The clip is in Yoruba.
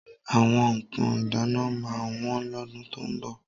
Àwọn nǹkan ìdáná máa wọ́n lọ́dún tó ń bọ̀.